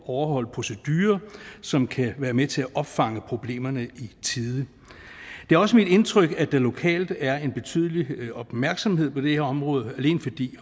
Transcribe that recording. overholde procedurer som kan være med til at opfange problemerne i tide det er også mit indtryk at der lokalt er en betydelig opmærksomhed på det her område alene fordi